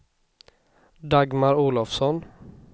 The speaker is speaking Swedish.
Dagmar Olovsson